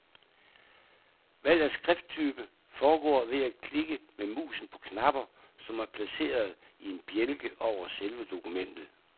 Valg af skrifttype foregår ved at klikke med musen på knapper, som er placeret i en bjælke over selve dokumentet.